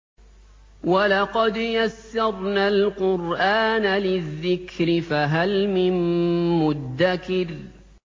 وَلَقَدْ يَسَّرْنَا الْقُرْآنَ لِلذِّكْرِ فَهَلْ مِن مُّدَّكِرٍ